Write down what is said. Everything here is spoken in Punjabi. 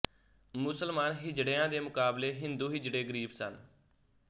ਮੁਸਲਮਾਨ ਹਿਜੜਿਆਂ ਦੇ ਮੁਕਾਬਲੇ ਹਿੰਦੂ ਹਿਜੜੇ ਗਰੀਬ ਸਨ